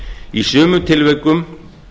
í sumum tilvikum